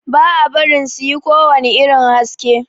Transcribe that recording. Ba a barin su yi kowani irin haski.